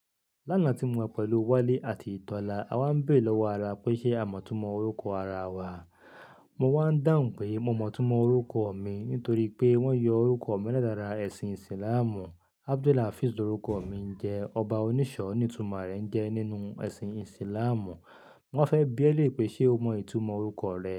Lánàá tí mo wà pẹ̀lú Wálé àti Tọ́lá, a wá ń béèrè lọ́wọ́ ara pé ṣe a mọ̀ túmọ̀ orúkọ ara wa. Mo wá ń dàǹ pé mo mọ̀ túmọ̀ orúkọ mi nítorí pé wọ́n yọ orúkọ mi látara ẹ̀sìn Ìsìlámù. Abdulhafiz orúkọ mi ń jẹ́ "ọba onísọ̀ọ́" ní ìtumọ̀ rẹ̀ ń jẹ́ nínú ẹ̀sìn Ìsìlámù. Wọ́n fẹ́ bi ẹ́ lé pé ṣe o mọ ìtumọ̀ orúkọ rẹ.